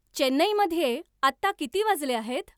चेन्नैमध्ये आता किती वाजले आहेत